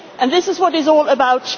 balanced agreement. This is